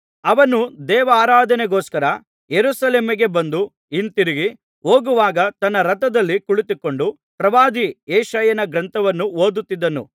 ಅವನು ದೇವಾರಾಧನೆಗೋಸ್ಕರ ಯೆರೂಸಲೇಮಿಗೆ ಬಂದು ಹಿಂತಿರುಗಿ ಹೋಗುವಾಗ ತನ್ನ ರಥದಲ್ಲಿ ಕುಳಿತುಕೊಂಡು ಪ್ರವಾದಿ ಯೆಶಾಯನ ಗ್ರಂಥವನ್ನು ಓದುತ್ತಿದ್ದನು